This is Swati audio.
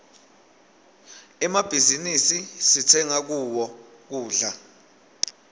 emmabhizinisi sitsenga kuwo kudla